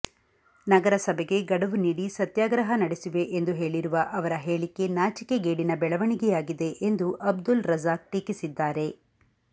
ನಗರಸಭೆಗೆ ಗಡವು ನೀಡಿ ಸತ್ಯಾಗ್ರಹ ನಡೆಸುವೆ ಎಂದು ಹೇಳಿರುವ ಅವರ ಹೇಳಿಕೆ ನಾಚಿಕೆಗೇಡಿನ ಬೆಳವಣಿಗೆಯಾಗಿದೆ ಎಂದು ಅಬ್ದುಲ್ ರಜಾಕ್ ಟೀಕಿಸಿದ್ದಾರೆ